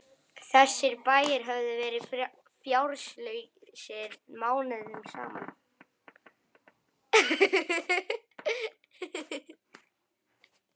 Þessir bæir höfðu verið fjárlausir mánuðum saman.